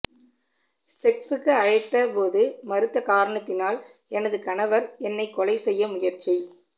செக்சுக்கு அழைத்த போது மறுத்த காரணத்தினால் எனது கணவர் என்னை கொலை செய்ய முயற்சி